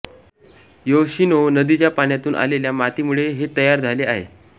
Yoshino नदीच्या पाण्यातून आलेल्या मातीमुळे हे तयार झाले आहे